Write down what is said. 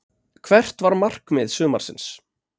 Hvert var markmið sumarsins?